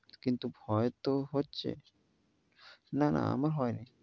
কিন্তু ভয় তো হচ্ছে, না না হয় নাই।